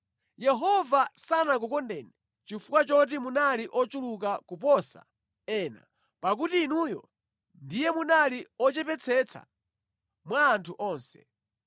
Yehova sanakukondeni chifukwa choti munali ochuluka kuposa ena pakuti inuyo ndiye munali ochepetsetsa mwa anthu onse.